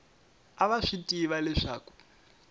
a va swi tiva leswaku